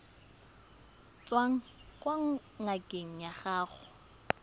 tswang kwa ngakeng ya gago